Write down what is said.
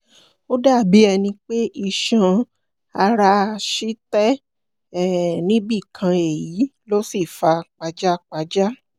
ó dàbí ẹni pé iṣan-ara ṣì tẹ̀ um níbì kan èyí ló sì fa pajápajá